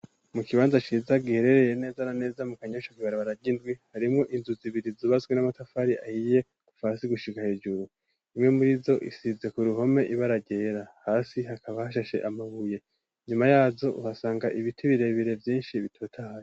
Mu kibanza ciza giherereye neza na neza mu kanyosha kw'ibarabara ry'indwi harimo inzu zibiri zubatswe n'amatafari ahiye kuva hasi gushiga hejuru imwe murizo isize ku ruhome ibara ryera hasi hakaba hashashe amabuye nyuma yazo uhasanga ibiti birebire vyinshi bitotahaye.